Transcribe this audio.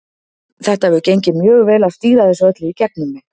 Það hefur gengið mjög vel að stýra þessu öllu í gegnum mig.